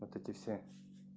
вот эти все